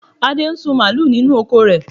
Adé ń sin mààlúù nínú oko rẹ.